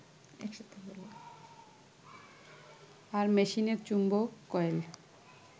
আর মেশিনের চৌম্বক কয়েল